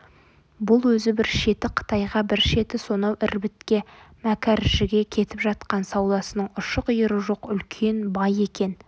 бұл өзі бір шеті қытайға бір шеті сонау ірбітке мәкәржіге кетіп жатқан саудасының ұшы-қиыры жоқ үлкен бай екен